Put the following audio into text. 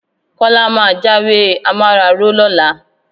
Kọ́lá máa jáwé amáraró lọ́la.